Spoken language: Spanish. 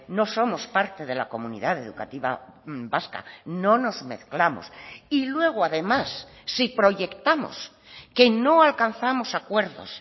no somos parte de la comunidad educativa vasca no nos mezclamos y luego además si proyectamos que no alcanzamos acuerdos